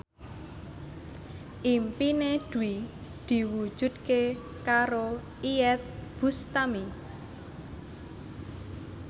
impine Dwi diwujudke karo Iyeth Bustami